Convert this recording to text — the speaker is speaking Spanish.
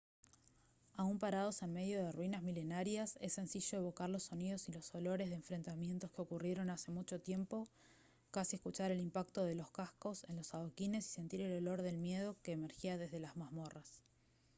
aun parados en medio de ruinas milenarias es sencillo evocar los sonidos y los olores de enfrentamientos que ocurrieron hace mucho tiempo casi escuchar el impacto de los cascos en los adoquines y sentir el olor del miedo que emergía desde las mazmorras